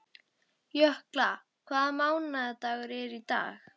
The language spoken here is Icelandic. Jökla, hvaða mánaðardagur er í dag?